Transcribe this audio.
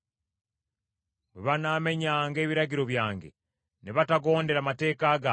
bwe banaamenyanga ebiragiro byange, ne batagondera mateeka gange,